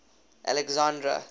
alexandra